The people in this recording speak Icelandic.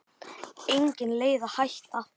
Engin leið að hætta.